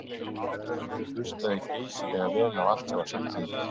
En ég hlustaði geysilega vel á allt sem sagt var við mig.